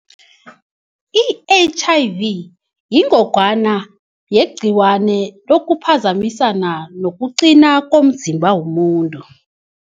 I-H_I_V yingogwana yegcikwane okuphazamisana nokuqina komzimba womuntu.